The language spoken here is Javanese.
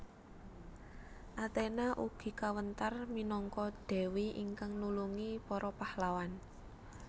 Athena ugi kawentar minangka dewi ingkang nulungi para pahlawan